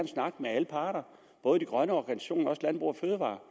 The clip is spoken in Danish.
snakke med alle parter både de grønne organisationer og landbrug fødevarer